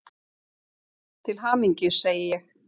Til hamingju, segi ég.